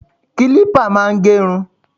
Kílípà máa ń gé irun.